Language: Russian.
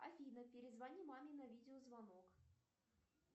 афина перезвони маме на видеозвонок